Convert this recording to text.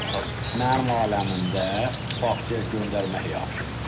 Mənim aləmimdə bağçaya göndərmək yaxşıdır.